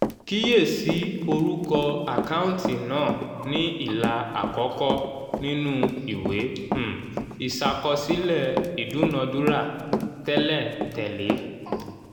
kíyèsí orúkọ àkáǹtì náà ní ilà àkọ́kọ́ nínú ìwé um ìṣàkọsílẹ̀ ìdúnadúrà tẹ̀léǹtẹ̀lẹ́